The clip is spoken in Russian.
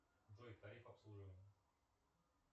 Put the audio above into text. джой тариф обслуживания